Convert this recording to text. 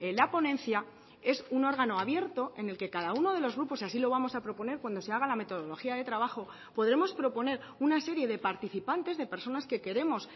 la ponencia es un órgano abierto en el que cada uno de los grupos así lo vamos a proponer cuando se haga la metodología de trabajo podremos proponer una serie de participantes de personas que queremos